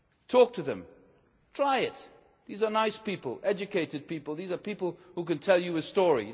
Talk to them, try it! These are nice people, educated people these are people who can tell you a story.